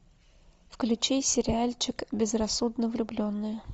включи сериальчик безрассудно влюбленные